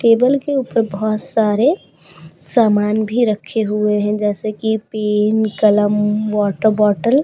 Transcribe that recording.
table के ऊपर बहोत सारे सामान भी रखे हुए हैं जैसे कि पिन कलम वाटर बॉटल --